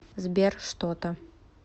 сбер что то